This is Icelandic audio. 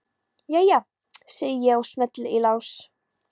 Jæja, segi ég og smelli í lás.